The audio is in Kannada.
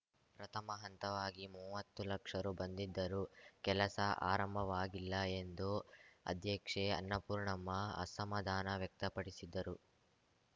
ಪ್ರಥಮ ಹಂತವಾಗಿ ಮುವ್ವತ್ತು ಲಕ್ಷ ರು ಬಂದಿದ್ದರೂ ಕೆಲಸ ಆರಂಭವಾಗಿಲ್ಲ ಎಂದು ಅಧ್ಯಕ್ಷೆ ಅನ್ನಪೂರ್ಣಮ್ಮ ಅಸಮಾದಾನ ವ್ಯಕ್ತಪಡಿಸಿದ್ದರು